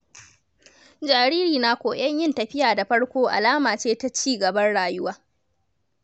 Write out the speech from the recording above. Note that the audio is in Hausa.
Jariri na koyon yin tafiya da farko alama ce ta ci gaban rayuwa.